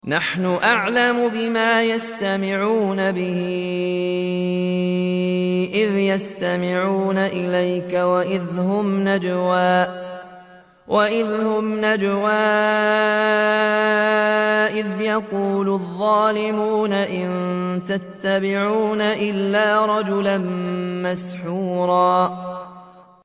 نَّحْنُ أَعْلَمُ بِمَا يَسْتَمِعُونَ بِهِ إِذْ يَسْتَمِعُونَ إِلَيْكَ وَإِذْ هُمْ نَجْوَىٰ إِذْ يَقُولُ الظَّالِمُونَ إِن تَتَّبِعُونَ إِلَّا رَجُلًا مَّسْحُورًا